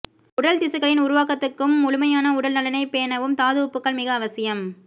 உடல் திசுக்களின் உருவாக்கத்துக்கும் முழுமையான உடல் நலனைப்பேணவும் தாதுஉப்புக்கள் மிக அவசியம்